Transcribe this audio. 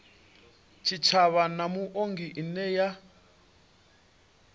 tshitshavha na muongi ine ya